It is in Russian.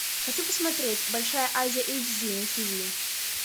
хочу посмотреть большая азия эйч ди на тв